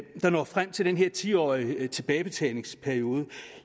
der når frem til den her ti årige tilbagebetalingsperiode